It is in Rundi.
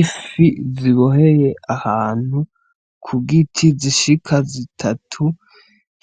Ifi ziboheye ahantu Ku giti zishika zitatu ,